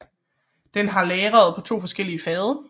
Den har lagret på 2 forskellige fade